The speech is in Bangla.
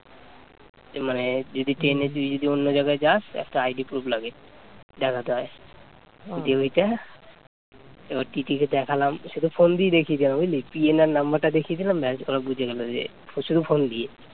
এবার টিটি কে দেখালাম সেতো ফোন দিয়েই দেখিয়ে দি আমি বুঝলি, PNR number টা দেখিয়ে দিলাম ব্যাস ওরা বুঝে গেল যে শুধু ফোন দিয়ে